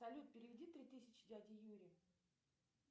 салют переведи три тысячи дяде юре